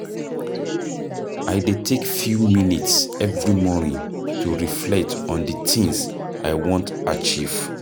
I dey take few minutes every morning to reflect on di tins I wan achieve.